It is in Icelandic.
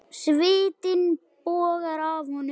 Svitinn bogar af honum.